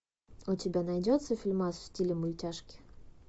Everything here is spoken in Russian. у тебя найдется фильмас в стиле мультяшки